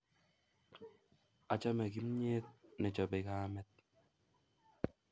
Achame kimnyet ne chopei kamet